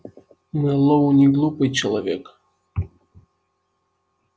мэллоу неглупый человек